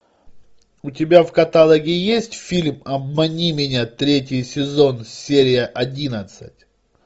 у тебя в каталоге есть фильм обмани меня третий сезон серия одиннадцать